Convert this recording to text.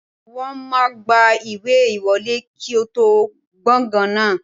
Wọ́n máa gba ìwé ìwọlé kí ẹ tó wọ gbàngàn náà